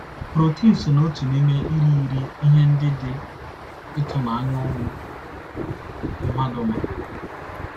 Protin so n’otu n’ime irighiri ihe ndị dị ịtụnanya ụmụ mmadụ ma.